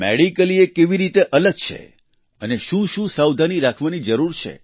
medically એ કેવી રીતે અલગ છે અને શું શું સાવધાની રાખવી જરૂરી છે